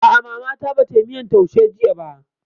A'a, Mama ta ba tayi miyan taushe jiya ba